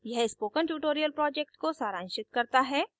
यह spoken tutorial project को सारांशित करता है